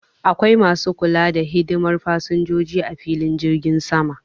Akwai Masu kula da hidimar fassinjoji ah filin jirgin Sama.